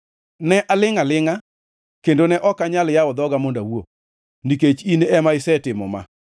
Ne alingʼ alingʼa, kendo ne ok anyal yawo dhoga mondo awuo, nikech in ema isetimo ma.